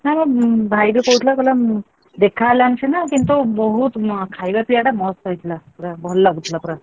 ନା ବା ଭାଇ ବି କହୁଥିଲା କହିଲା ଦେଖା ହେଲାନି ସିନା କିନ୍ତୁ ବହୁତ ଖାଇବା ପିଇବାଟା ପୁରା ମସ୍ତ ହେଇଥିଲା ପୁରା ଭଲ ଲାଗୁଥିଲା ପୁରା।